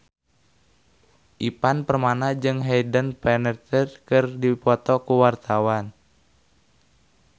Ivan Permana jeung Hayden Panettiere keur dipoto ku wartawan